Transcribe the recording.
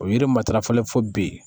O yiri matarafalen fo bi